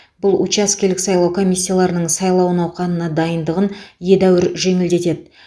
бұл учаскелік сайлау комиссияларының сайлау науқанына дайындығын едәуір жеңілдетеді